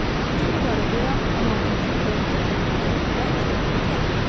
Bütün bunlara görə 16-cı Lüdovikin ovqatı bərk təlx idi.